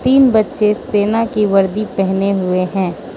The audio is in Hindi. तीन बच्चे सेना की वर्दी पहने हुए हैं।